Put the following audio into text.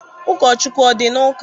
Ụkọchukwu ọ dị na ụka?